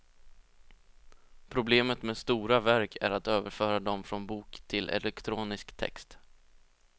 Problemet med stora verk är att överföra dem från bok till elektronisk text.